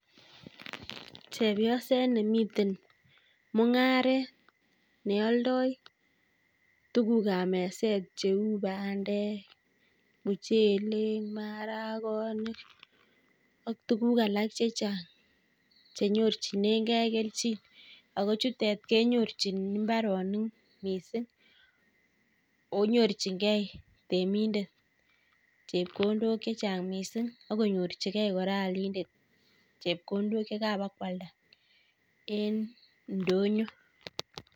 Chepyoset nemiten mung'aret nealdai tuguk ap meset cheuu; bandek, muchelek, maragonik, ak tuguk lak chechang' chenyorchinegei kelchin ako chutek kenyorchin mbaronik miising' akonyorchingei temindet chepkondok chechang' miising' akonyorchigei kora aalindet chepkondok yekabakwalda en ndonyo